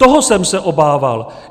Toho jsem se obával!